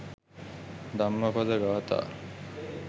dammapada gatha